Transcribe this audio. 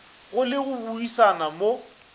go le go buisana mo